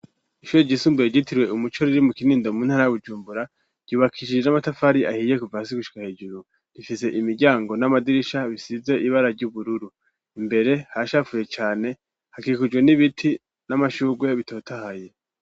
ishure ryisumbuye ryitirwe umuco riri mu kinindo mu ntara ya bujumbura , ryubakishije n'amatafari ahiye kuva hasi gushika hejuru ,rifise imiryango n'amadirisha bisize ibara ry'ubururu . Imbere haracafuye cane, hakikujwe n'ibiti n'amashugwe bitothaye.